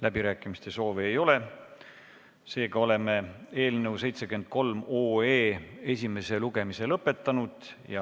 Läbirääkimiste soovi ei ole, seega oleme eelnõu 73 esimese lugemise lõpetanud.